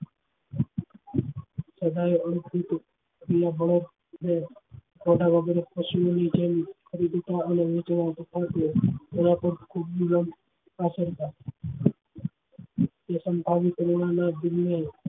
પશુ ઓ ની જેમ